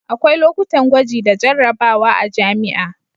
akwai lokutan gwaji da jarrabawa a jami'a